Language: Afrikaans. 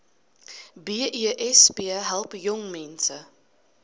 besp help jongmense